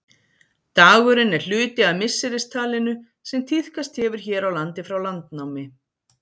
Dagurinn er hluti af misseristalinu sem tíðkast hefur hér á landi frá landnámi.